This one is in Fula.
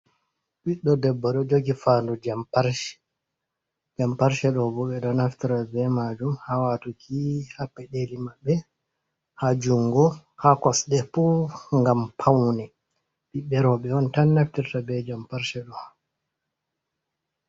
Ɓiɗɗo debbo ɗo jogi fanɗu jamparshe, jamparshe ɗo bo ɓe ɗo naftira be majum ha watuki ha peɗeli maɓɓe, ha jungo, ha kosɗe fuu gam paune, ɓiɓɓe roɓe on tan naftirta be jamparshe ɗo.